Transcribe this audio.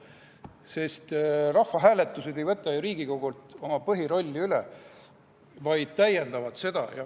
Sest rahvahääletused ei võta Riigikogult tema põhirolli üle, vaid täiendavad seda.